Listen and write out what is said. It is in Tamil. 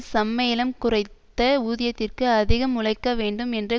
சம்மேளம் குறைத்த ஊதியத்திற்கு அதிகம் உழைக்கவேண்டும் என்ற